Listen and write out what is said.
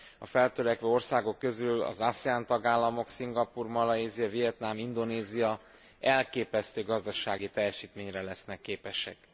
A feltörekvő országok közül az ASEAN tagállamok Szingapúr, Malajzia, Vietnam, Indonézia elképesztő gazdasági teljesítményre lesznek képesek.